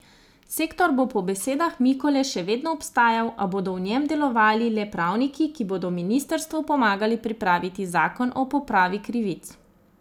Sektor bo po besedah Mikole še vedno obstajal, a bodo v njem delovali le pravniki, ki bodo ministrvu pomagali pripraviti zakon o popravi krivic.